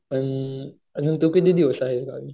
पण अजून तू किती दिवस आहेस गावी?